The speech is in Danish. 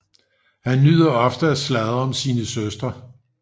Han nyder ofte at sladre om sine søstre